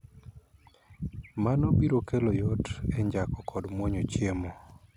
Mano biro kelo yot e njako kod muonyo chiemo.